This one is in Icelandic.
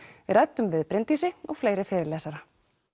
við ræddum við Bryndísi og fleiri fyrirlesara